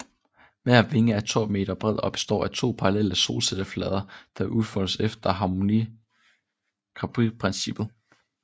Hver vinge er 12 m bred og består af to parallelle solcelleflader der udfoldes efter harmonikaprincippet